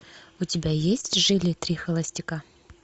у тебя есть жили три холостяка